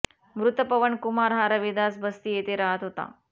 मृत पवन कुमार हा रविदास बस्ती येथे रहात होता